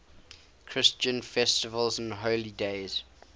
christian festivals and holy days